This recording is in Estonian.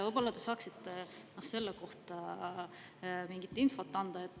Võib-olla te saaksite selle kohta mingit infot anda.